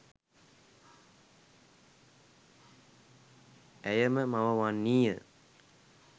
ඇය ම මව වන්නී ය.